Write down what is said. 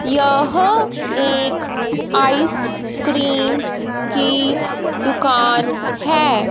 यह एक आइसक्रीम्स की दुकान है।